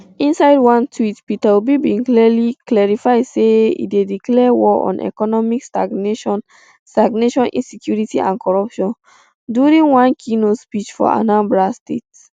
inside one tweet peter obi bin clarify say e dey declare war on economic stagnation stagnation insecurity and corruption during one keynote speech for anambra state